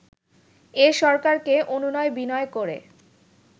এ সরকারকে অনুনয় বিনয় করে